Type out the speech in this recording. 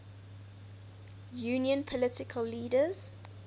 union political leaders